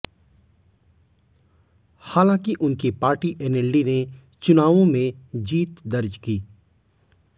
हालांकि उनकी party NLD ने चुनावों में जीत दर्ज की